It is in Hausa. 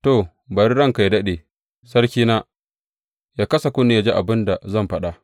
To, bari ranka yă daɗe, sarkina yă kasa kunne yă ji abin da zan faɗa.